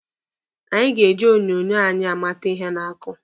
Anyị ga-ebi onyonyo anyị amata ihe na-akụ.